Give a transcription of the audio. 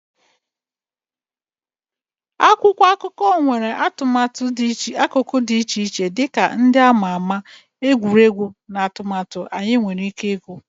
Akwụkwọ akụkọ nwere akụkụ dị iche-iche dị ka ndị a ma ama, egwuregwu, na atụmatụ anyị nwere ike ịgụ.